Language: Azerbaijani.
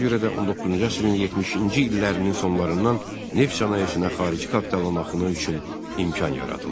Ona görə də 19-cu əsrin 70-ci illərinin sonlarından neft sənayesinə xarici kapitalın axını üçün imkan yaradıldı.